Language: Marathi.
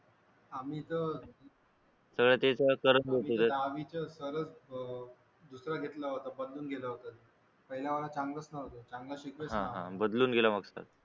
आम्ही तर दहावीचे सरच दुसरे घेतले होते बदलून घेतले होते पहिले वाले चांगलेच नव्हते चांगलं शिकवतच नव्हते